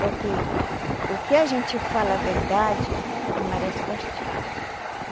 Porque o que a gente fala a verdade não merece castigo.